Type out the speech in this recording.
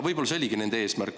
Võib-olla see oligi nende eesmärk.